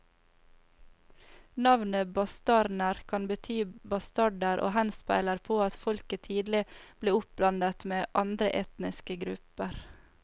Navnet bastarner kan bety bastarder og henspeiler på at folket tidlig ble oppblandet med andre etniske grupper.